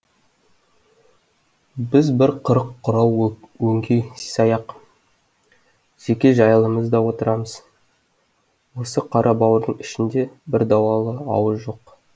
біз бір қырық құрау өңкей саяқ жеке жайыламыз да отырамыз осы қара бауырдың ішінде бір дуалы ауыз жоқ